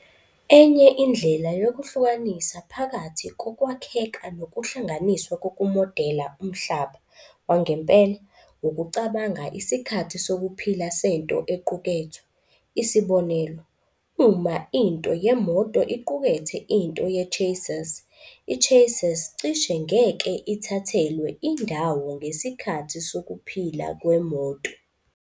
Enye indlela yokuhlukanisa phakathi kokwakheka nokuhlanganiswa kokumodela umhlaba wangempela, ukucabanga isikhathi sokuphila sento equkethwe. Isibonelo, uma into yemoto iqukethe into ye-Chassis, i-Chassis cishe ngeke ithathelwe indawo ngesikhathi sokuphila kweMoto.